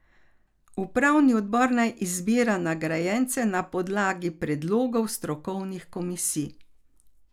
Upravni odbor naj izbira nagrajence na podlagi predlogov strokovnih komisij.